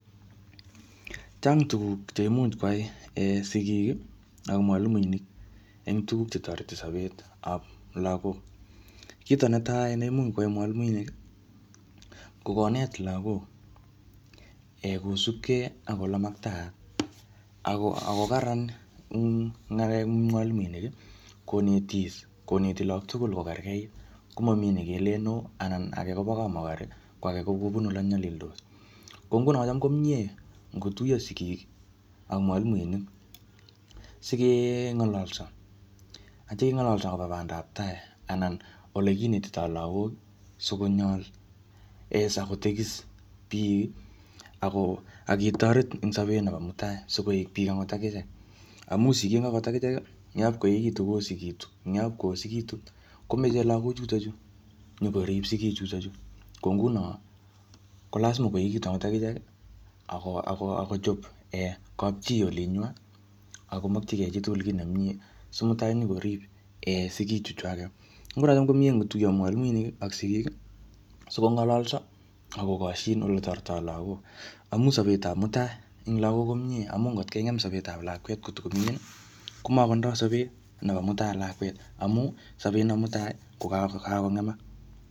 Chang' tuguk cheimuch koyai sikik ak mwalimuinik en tuguk chetoreti sobetab logok. Kit netai neimuch koyai mwalimuinik kokonet logok ee kosubkei ak olemaktaat ago karan ng'alek en mwalimuinik konetis koneti logok tugul kokerkeit komomi nekelen oo anan age kobo kamokorek koage kobunu ile nyolildos. Kongunon koyon mie ngotuyo sikik ak mwalimuinik sikeng'ololso ak kitio keng'ololso agobo bandaptai anan olekinetitoi logok sikonyol ak kotekisis biik ak koketoret en sobet nebo mutai koik biik akot akichek. Amun sikik akot akichek ngap koechekitun kokab koyosekitun ngap koyosekitun komoche logochuton chu inyokorib sikichuton chu. Ko ngunon ko lasima koechekitun akichek ak kochob kapchi olinywan ak komokyikei chitukul kit nemie si mutai inyokorib sikichuchwaket. Nguno komie ngotuyo mwalimuinik ak sikik sikong'ololso ak kokosyin oletoretito logok amun sobetab mutai en logok komie amun kot keng'em sobetab lakwet kotokoming'in ii komotindoi sobet nebo mutai lakwet amun sobet nebo mutai kokakong'emak.